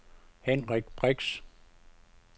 Henrik Brix